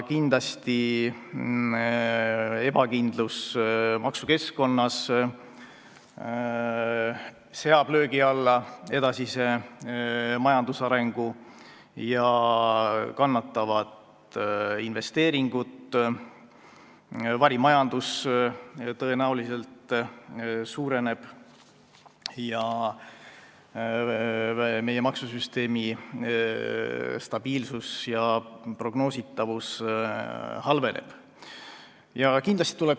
Kindlasti seab ebakindlus maksukeskkonnas löögi alla edasise majandusarengu, kannatavad investeeringud, varimajandus tõenäoliselt suureneb, maksusüsteemi stabiilsus ja prognoositavus halvenevad.